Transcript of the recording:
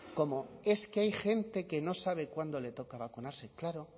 como es que hay gente que no sabe cuándo le toca vacunarse claro